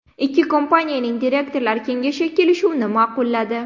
Ikki kompaniyaning direktorlar kengashi kelishuvni ma’qulladi.